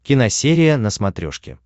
киносерия на смотрешке